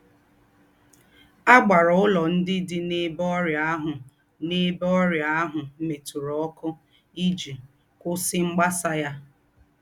À gbárá úlọ́ ndí́ dí n’èbé ọ́rị́ā àhù n’èbé ọ́rị́ā àhù mètùrà ọ́kū́ íjī kwùsí mgbasà yá!